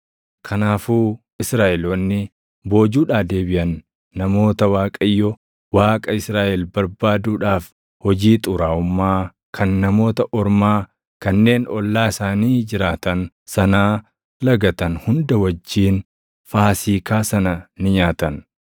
Kanaafuu Israaʼeloonni boojuudhaa deebiʼan namoota Waaqayyo Waaqa Israaʼel barbaaduudhaaf hojii xuraaʼummaa kan Namoota Ormaa kanneen ollaa isaanii jiraatan sanaa lagatan hunda wajjin Faasiikaa sana ni nyaatan.